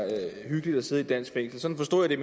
hyggeligt at sidde i et dansk fængsel sådan forstod jeg